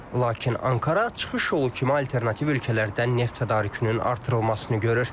Lakin Ankara çıxış yolu kimi alternativ ölkələrdən neft tədarükünün artırılmasını görür.